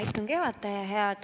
Hea istungi juhataja!